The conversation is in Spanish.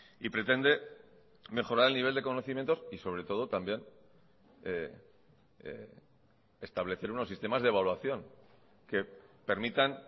y pretende mejorar el nivel de conocimientos y sobre todo también establecer unos sistemas de evaluación que permitan